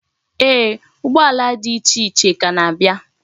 Eeh, ụgbọala di iche iche ka na-abia.